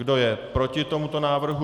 Kdo je proti tomuto návrhu?